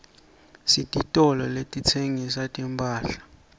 sititolo letitsengisa timphahla